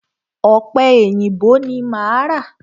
Ọ̀pẹ èyìǹbó ni máa ra.